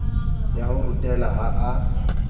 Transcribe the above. ya ho rutela ha a